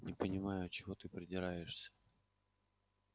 не понимаю чего ты придираешься